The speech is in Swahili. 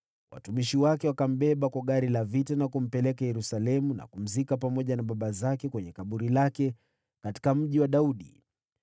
Watumishi wake wakambeba kwa gari la vita na kumpeleka Yerusalemu, wakamzika pamoja na baba zake kwenye kaburi lake katika Mji wa Daudi.